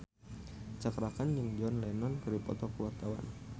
Cakra Khan jeung John Lennon keur dipoto ku wartawan